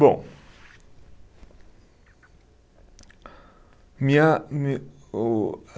Bom, minha, me o